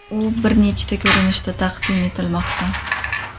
U bir nechta ko‘rinishda taqdim etilmoqda.